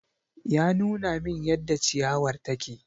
Ya nuna min yadda ciyawar take.